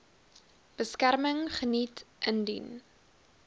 beskerming geniet indien